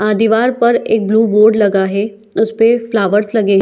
अ दीवार पर एक ब्लू बोर्ड लगा है उसपे फ्लावर्स लगे हैं ।